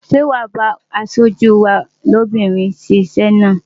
Ṣé wàá bá aṣojú wa lóbìnrin ṣe iṣẹ́ náà?